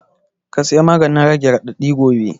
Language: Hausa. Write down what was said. Ka saya maganin rage raɗaɗi gobe